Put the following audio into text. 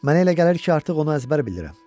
Mənə elə gəlir ki, artıq onu əzbər bilirəm.